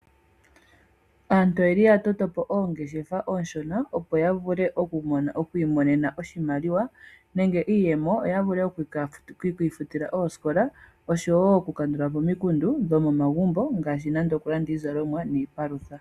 Aantu oyeli ya toto po oongeshefa oonshona opo ya vule okwii monena oshimaliwa nenge iiyemo yo ya vule okwii futila oosikola oshowo oku kandula po omikundu dhomomagumbo ngaashi oku landa iizalomwa nenge iipalutha.